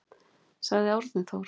Sagði Árni Þór.